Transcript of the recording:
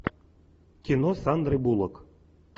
кино с сандрой буллок